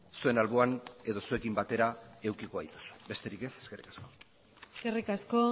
zuen alboan edo zuekin batera edukiko gaituzue besterik ez eskerrik asko eskerrik asko